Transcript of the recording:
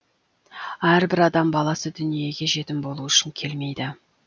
әрбір адам баласы дүниеге жетім болу үшін келмейді